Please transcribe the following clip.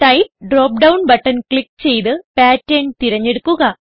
type drop down button click ചെയ്ത് pattern തിരഞ്ഞെടുക്കുക